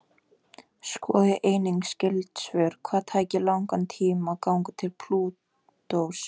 Skoðið einnig skyld svör: Hvað tæki langan tíma að ganga til Plútós?